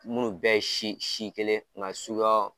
Minnu bɛ ye si si kelen nga suguyaw